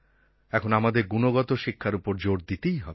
এখন আমাদের গুণগত শিক্ষার ওপর জোর দিতেই হবে